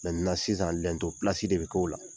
sisan lɛnto pilasi de bɛ k'o la.